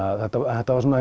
þetta